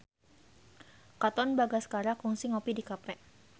Katon Bagaskara kungsi ngopi di cafe